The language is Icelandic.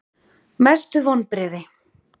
Mestu vonbrigði?